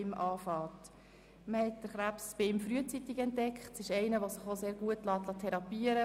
Bei Stefan Berger wurde der Krebs frühzeitig entdeckt, und es handelt sich um eine gut therapierbare Krebsart.